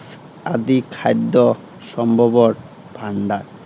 আদি খাদ্য সম্ভৱৰ ভাণ্ডাৰ।